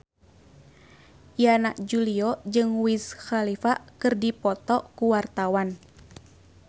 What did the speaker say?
Yana Julio jeung Wiz Khalifa keur dipoto ku wartawan